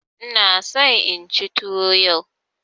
Ina so inci tuwo yau.